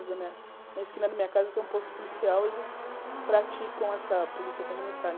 Na esquina da minha casa tem um posto policial, eles praticam essa polícia comunitária.